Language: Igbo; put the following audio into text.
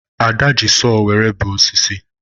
Ada ji sọọ were bee osisi